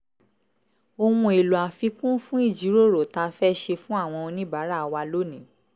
ohun èlò àfikún fún ìjíròrò tá a fẹ́ ṣe fún àwọn oníbàárà wa lónìí